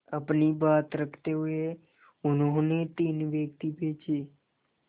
अपनी बात रखते हुए उन्होंने तीन व्यक्ति भेजे